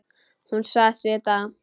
Hún sagðist vita það.